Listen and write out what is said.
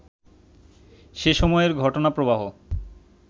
সেসময়ের ঘটনাপ্রবাহ